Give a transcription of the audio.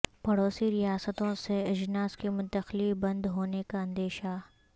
پڑوسی ریاستوں سے اجناس کی منتقلی بند ہونے کا اندیشہ